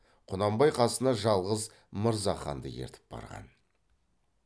құнанбай қасына жалғыз мырзаханды ертіп барған